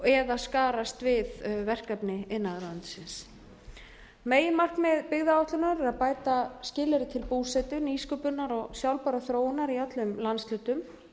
eða skarast við verkefni iðnaðarráðuneytisins meginmarkmið byggðaáætlunar er að bæta skilyrði til búsetu nýsköpunar og sjálfbærrar þróunar í öllum landshlutum